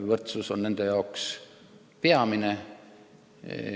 Võrdsus on nende jaoks peamine.